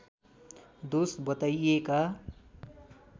दोष बताइएका